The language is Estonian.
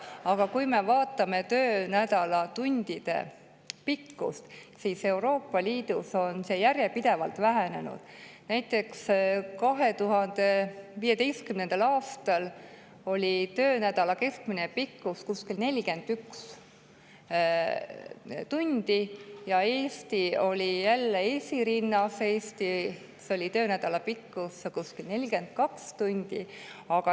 Aga kui me vaatame töönädala pikkust tundides, siis Euroopa Liidus on see järjepidevalt vähenenud, näiteks 2015. aastal oli töönädala keskmine pikkus kuskil 41 tundi ja Eesti oli jälle esirinnas: Eestis oli töönädala pikkus kuskil 42 tundi.